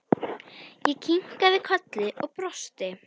Ég kinkaði kolli og brosti.